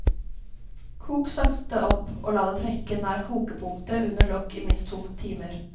Kok sakte opp og la det trekke nær kokepunktet under lokk i minst to timer.